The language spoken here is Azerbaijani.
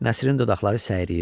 Nəsrin dodaqları səyriyirdi.